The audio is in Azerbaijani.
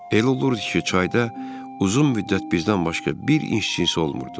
Elə olurdu ki, çayda uzun müddət bizdən başqa bir insan olmurdu.